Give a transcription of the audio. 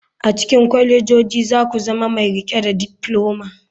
A cikin kwalejoji za ku zama mai riƙe da difloma.